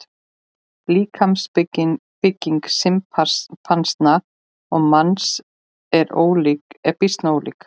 Líkamsbygging simpansa og manns er býsna ólík.